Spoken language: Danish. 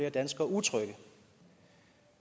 og danskere utrygge